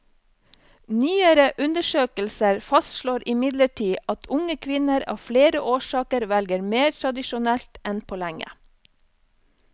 Nyere undersøkelser fastslår imidlertid at unge kvinner av flere årsaker velger mer tradisjonelt enn på lenge.